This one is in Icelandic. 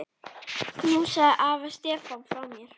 Knúsaðu afa Stefán frá mér.